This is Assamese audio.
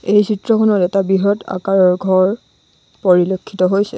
এই চিত্ৰখনত এটা বৃহৎ আকাৰৰ ঘৰ পৰিলক্ষিত হৈছে।